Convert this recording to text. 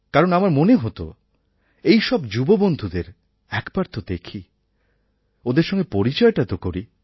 কারণ আমার মনে হতো এই সব যুববন্ধুদের একবার তো দেখি ওদের সঙ্গে পরিচয়টা তো করি